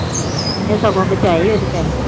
ਉਹਨੇ ਸਗੋਂ ਬਚਾਏ ਉਹਦੇ ਪੈਸੇ।